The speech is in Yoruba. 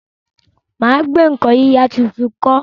mà á gbé nǹkan yíyà tuntun kọ́.